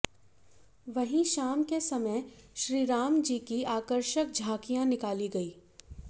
वहीं शाम के समय श्रीराम जी की आकर्षक झाकियां निकाली गईं